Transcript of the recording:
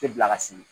Tɛ bila ka siri